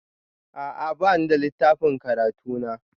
A'a, ba ni da littafin karatu na